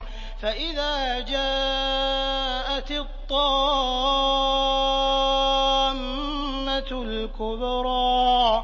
فَإِذَا جَاءَتِ الطَّامَّةُ الْكُبْرَىٰ